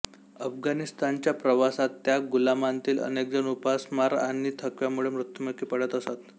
अफगाणिस्तानच्या प्रवासात त्या गुलामांतील अनेकजण उपासमार आणि थकव्यामुळे मृत्युमुखी पडत असत